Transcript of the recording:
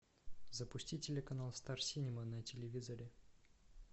запусти телеканал стар синема на телевизоре